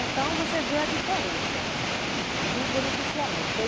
Então você vê a diferença do beneficiamento.